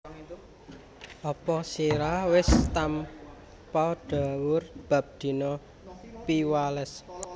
Apa sira wis tampa dhawuh bab dina Piwales